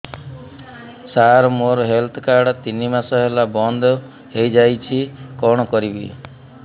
ସାର ମୋର health card ତିନି ମାସ ହେଲା ବନ୍ଦ ହେଇଯାଇଛି କଣ କରିବି